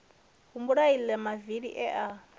humbula aḽa mavili e a